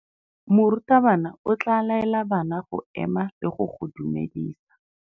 Morutabana o tla laela bana go ema le go go dumedisa.